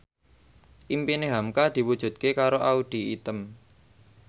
impine hamka diwujudke karo Audy Item